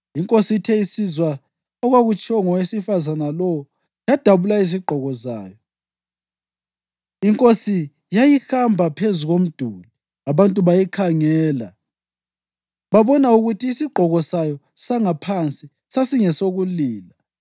Inkosi ithe isizwa okwakutshiwo ngowesifazane lowo yadabula izigqoko zayo. Inkosi yayihamba phezu komduli, abantu bayikhangela, babona ukuthi isigqoko sayo sangaphansi sasingesokulila.